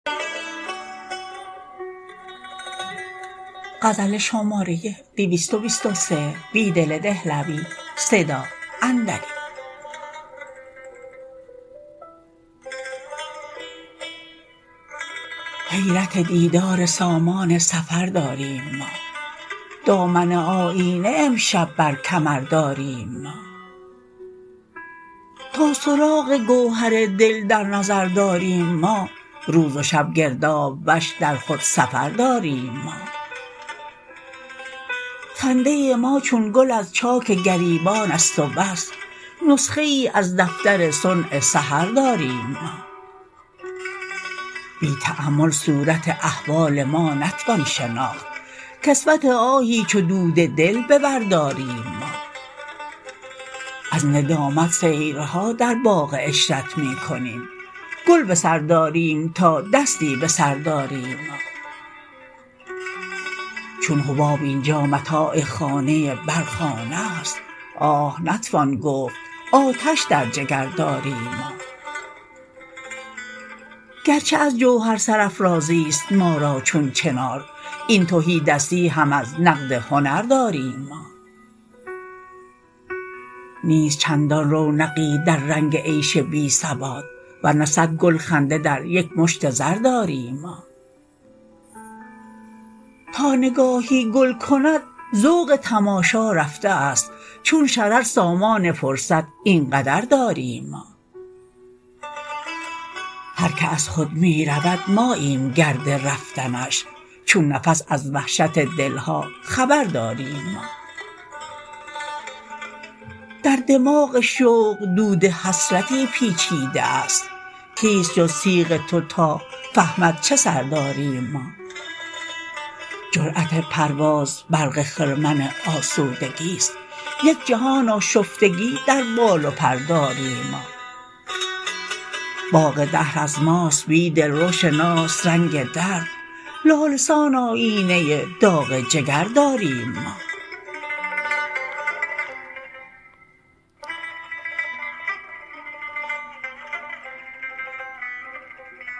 حیرت دیدار سامان سفر داریم ما دامن آیینه امشب برکمر داریم ما تا سراغ گوهر دل در نظر داریم ما روزوشب گرداب وش درخودسفر داریم ما خنده ماچون گل از چاک گریبان است و بس نسخه ای از دفتر صنع سحر داریم ما بی تأمل صورت احوال ما نتوان شناخت کسوت آهی چو دود دل به بر داریم ما از ندامت سیرها در باغ عشرت می کنیم گل به سر داریم تا دستی به سر داریم ما چون حباب اینجا متاع خانه برق خانه است آه نتوان گفت آتش در جگر داریم ما گرچه از جوهر سرافرازی ست ما را چون چنار این تهی دستی هم از نقد هنر داریم ما نیست چندان رونقی در رنگ عیش بی ثبات ورنه صدگل خنده دریک مشت زر داریم ما تا نگاهی گل کند ذوق تماشا رفته است چون شرر سامان فرصت اینقدر داریم ما هرکه از خود می رود ماییم گرد رفتنش چون نفس از وحشت دلها خبر داریم ما در دماغ شوق دود حسرتی پیچیده است کیست جزتیغ توتا فهمد چه سر داریم ما جرأت پرواز برق خرمن آسودگی ست یک جهان آشفتگی در بال و پر داریم ما باغ دهر از ماست بیدل روشناس رنگ درد لاله سان آیینه داغ جگر داریم ما